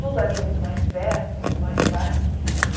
Tudo ali é muito mais perto, muito mais fácil.